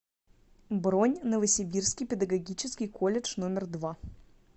бронь новосибирский педагогический колледж номер два